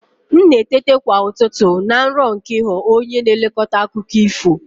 M na-eteta kwa ụtụtụ na nrọ nke ịghọ onye na-elekọta akụkọ ifo.